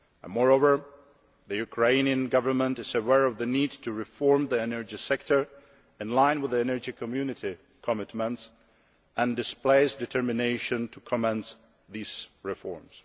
Moreover, the Ukrainian Government is aware of the need to reform the energy sector in line with the Energy Community commitments, and displays determination to commence these reforms.